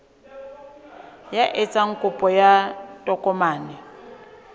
ya etsang kopo ya tokomane